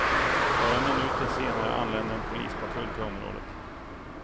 Bara minuter senare anlände en polispatrull till området.